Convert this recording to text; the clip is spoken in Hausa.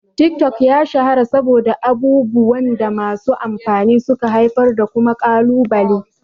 Tik-tok ya shahara saboda abubuwan da masu amfani suka haifar da kuma kalubale.